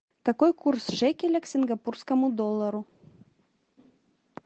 какой курс шекеля к сингапурскому доллару